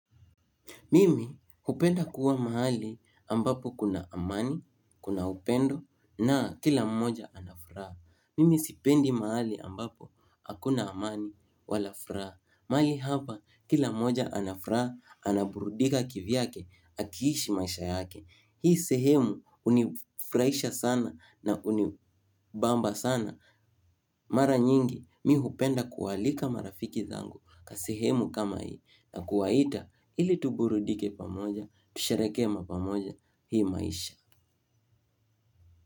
Mimi hupenda kuwa mahali ambapo kuna amani, kuna upendo na kila mmoja anafuraha. Mimi sipendi mahali ambapo hakuna amani wala furaha. Mahali hapa kila mmoja anafuraha, anaburudika kivyake, akiishi maisha yake. Hii sehemu unifraisha sana na unibamba sana. Mara nyingi mihupenda kualika marafiki zangu kasehemu kama hii. Na kuwaita ili tuburudike pamoja. Tusherekema pamoja hii maisha.